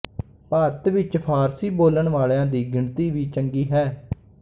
ਭਾਰਤ ਵਿੱਚ ਫਾਰਸੀ ਬੋਲਣ ਵਾਲੀਆਂ ਦੀ ਗਿਣਤੀ ਵੀ ਚੰਗੀ ਹੈ